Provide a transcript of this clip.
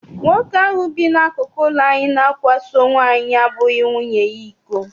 Nwoke ahụ bi n'akụkụ ụlọ anyị na-akwaso nwaanyị abụghị nwunye ya iko.